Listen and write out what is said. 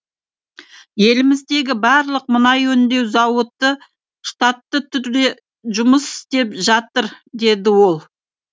еліміздегі барлық мұнай өңдеу зауыты штатты түрде жұмыс істеп жатыр деді ол